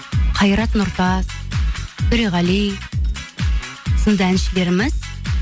қайрат нұртас төреғали сынды әншілеріміз